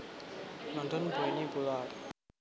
London Bonnie Bullard